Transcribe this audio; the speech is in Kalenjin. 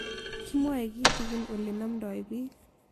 Kimwae kitig'in ole namdoi piik